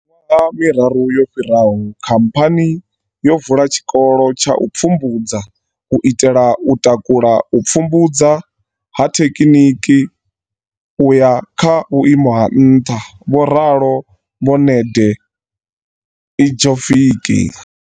Miṅwaha miraru yo fhiraho, khamphani yo vula tshikolo tsha u pfumbudza u itela u takula u pfumbudza ha thekiniki u ya kha vhuimo ha nṱha, vho ralo vho Nede ljkovic.